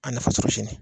A nafasɔrɔsili